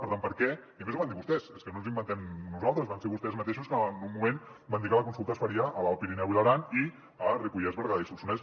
per tant per què i a més ho van dir vostès és que no ens ho inventem nosaltres van ser vostès mateixos que en un moment van dir que la consulta es faria a l’alt pirineu i l’aran i a ripollès berguedà i solsonès